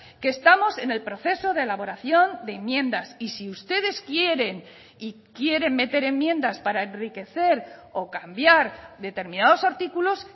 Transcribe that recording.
que estamos en el proceso de elaboración de enmiendas y si ustedes quieren y quieren meter enmiendas para enriquecer o cambiar determinados artículos